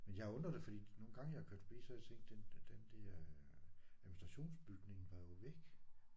Men jeg har undret det fordi nogle gange jeg er kørt forbi så har jeg set den den der administrationsbygning var jo væk